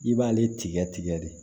I b'ale tigɛ tigɛ de